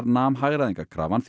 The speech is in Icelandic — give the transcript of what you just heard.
nam hagræðingarkrafan